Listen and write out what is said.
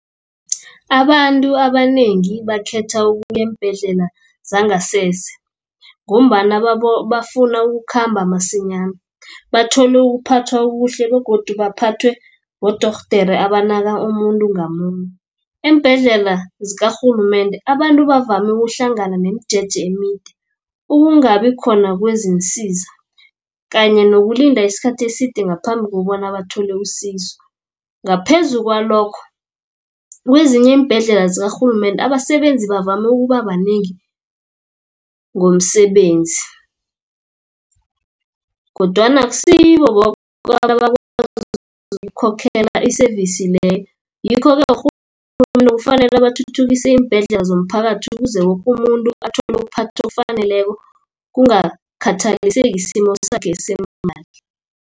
Abantu abanengi bakhetha ukuya eembhedlela zangasese, ngombana bafuna ukukhamba masinyana. Bathole ukuphathwa okuhle, begodu baphathwe bodorhodere abanaki umuntu ngamunye. Eembhedlela zikarhulumende abantu bavame ukuhlangana nemijeje emide, ukungabi khona kwezinsiza kanye nokulinda isikhathi eside ngaphambi kobana bathole usizo. Ngaphezu kwalokho kezinye iimbhedlela zikarhulumende abasebenzi bavame ukuba banengi ngomsebenzi, kodwana akusibo boke abantu abakwazi ukukhokhela iseyivisi leyo. Ngikho-ke urhulumende kufanele bathuthukise iimbhedlela zomphakathi ukuze woke umuntu athole ukuphathwa okufaneleko kungakhathaliseki isimo sakhe semali.